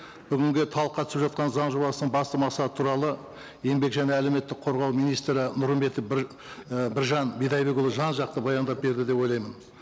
бүгінгі талқыға түсіп жатқан заң жобасының басты мақсаты туралы еңбек және әлеуметтік қорғау министрі нұрымбетов і біржан бидайбекұлы жан жақты баяндап берді деп ойлаймын